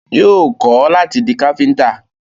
Yóò kọ́ láti di Káfíntà